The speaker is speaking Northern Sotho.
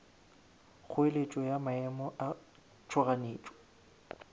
kgoeletšo ya maemo a tšhoganetšo